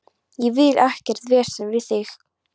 Ég vil ekkert vesen við þig.